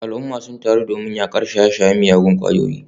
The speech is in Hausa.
Al’umma sun taru domin yakar shaye-shayen miyagun kwayoyi.